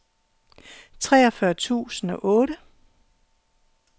treogfyrre tusind og otte